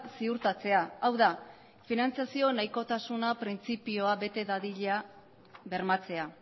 ziurtatzea hau da finantziazio nahikotasuna printzipioa bete dadila bermatzea